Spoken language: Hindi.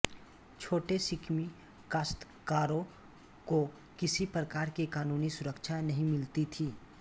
छोटे शिकमी काश्तकारों को किसी प्रकार की कानूनी सुरक्षा नहीं मिलती थी